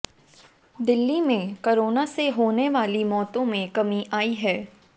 दिल्ली में करोना से होने वाली मौतों में कमी आयी है